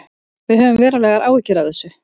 Við höfum verulegar áhyggjur af þessu